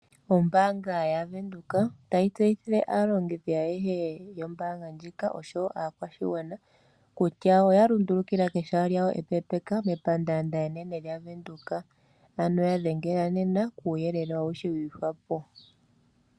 Ombaanga yaVenduka otayi tseyuthile aalongithi ayehe yombaanga oyo tuu ndjika, nosho woo aakwashigwana kutya oya lundulukila kehala lyawo epe mepandaanda enene lyaVenduka. Ngele owa hala uuyelele wi ihwapo ya dhengela nena.